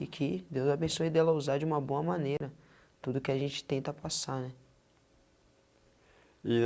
E que Deus abençoe dela usar de uma boa maneira tudo o que a gente tenta passar, né? E